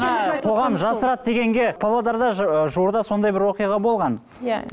қоғам жасырады дегенге павлодарда жуырда сондай бір оқиға болған иә